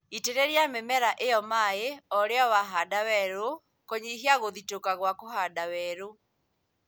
Itĩrĩria mĩmera ĩyo maĩĩ o rĩo wahanda werũ kũnyihia gũthitũka gwa kũhanda werũ